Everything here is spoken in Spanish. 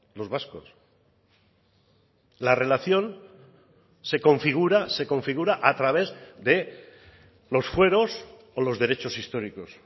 los vascos la relación se configura se configura a través de los fueros o los derechos históricos